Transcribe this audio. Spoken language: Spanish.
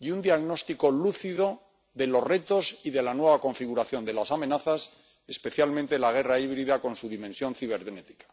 y un diagnóstico lúcido de los retos y de la nueva configuración de las amenazas, especialmente de la guerra híbrida con su dimensión cibernética.